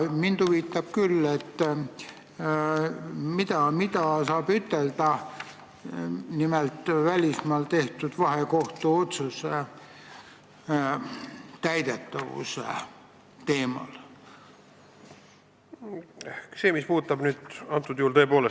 Mind siiski huvitab, mida saab ütelda nimelt välismaal tehtud vahekohtu otsuste täidetavuse kohta.